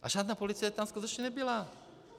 A žádná policie tam skutečně nebyla.